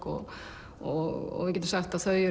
og og getum sagt að þau